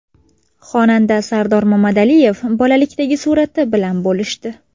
Xonanda Sardor Mamadaliyev bolalikdagi surati bilan bo‘lishdi.